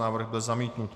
Návrh byl zamítnut.